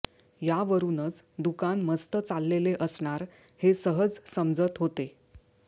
यावरूनच दुकान मस्त चाललेले असणार हे सहज समजत होते